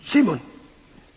Herr Präsident!